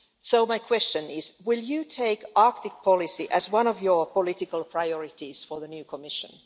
So my question is, will you take Arctic policy as one of your political priorities for the new Commission?